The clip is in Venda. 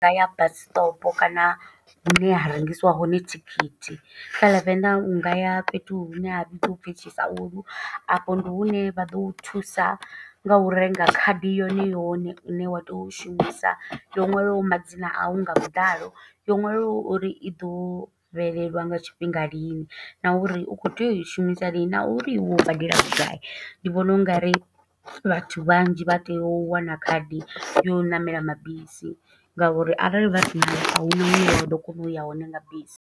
Nga ya bus stop kana hune ha rengisiwa hone thikhithi. Kha ḽa Venḓa u nga ya fhethu hune ha vhidziwa upfi Tshisaulu, afho ndi hune vha ḓo thusa nga u renga khadi yone yone. Ine wa tea u shumisa, yo nwalwaho madzina a u nga vhuḓalo, yo ṅwaliwaho uri i ḓo fhelelwa nga tshifhinga lini, na uri u khou tea u i shumisa lini, na uri iwe u badela vhugai. Ndi vhona ungari vhathu vhanzhi vha tea u wana khadi ya u ṋamela mabisi, nga uri arali vha sinayo, a huna hune vha ḓo kona u ya hone nga bisi.